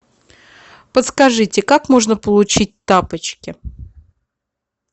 подскажите как можно получить тапочки